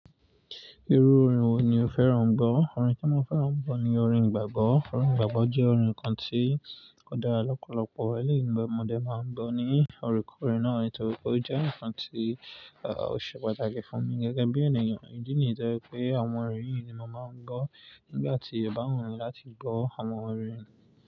Irú orin wo ni o fẹ́ràn-an gbọ́? Orin tí mo fẹ́ràn-an gbọ́ ni orin igbàgbọ́. Orin igbàgbọ́ jẹ́ orin kan tí ó dára lọ́pọ̀lọ́pọ̀. Ni ìgbà ọmọdé n máa ń gbọ́ ni orekoore náà nítorí pé ó jẹ́ ǹkan tí o ṣe pàtàkì fún mi gẹ́gẹ́ bí ènìyàn. Ìdí nìyi tọ́ je pé àwọn orin yìí ni mo màá ń gbọ́ nígbà tí o bá wùn mí láti gbọ́ àwọn orin.